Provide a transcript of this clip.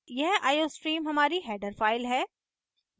यह iostream हमारी header file है